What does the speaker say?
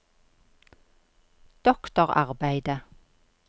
doktorarbeidet